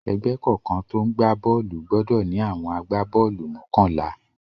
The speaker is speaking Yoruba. Ẹgbẹ́ kọ̀ọ̀kan tó ń gbá bọ́ọ́lù gbọdọ̀ ní àwọn agbá-bọ́ọ́lù mọ́kànlá.q